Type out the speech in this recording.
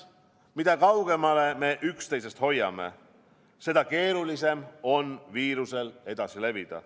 Mida kaugemale me üksteisest hoiame, seda keerulisem on viirusel edasi levida.